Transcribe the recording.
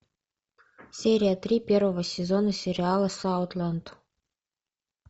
серия три первого сезона сериала саутленд